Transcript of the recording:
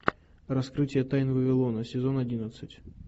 раскрытие тайн вавилона сезон одиннадцать